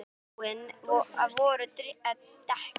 Svo fúin voru dekkin.